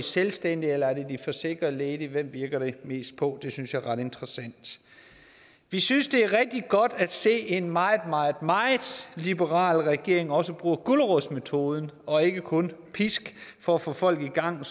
selvstændig eller er det de forsikrede ledige hvem virker det mest på det synes jeg er ret interessant vi synes det er rigtig godt at se at en meget meget liberal regering også bruger gulerodsmetoden og ikke kun pisken for at få folk i gang